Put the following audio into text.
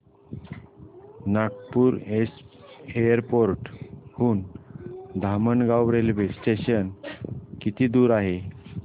Nagpur airport हून Dhamangaon railway station किती दूर आहे